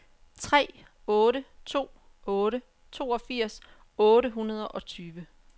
tre otte to otte toogfirs otte hundrede og tyve